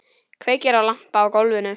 Kveikir á lampa á gólfinu.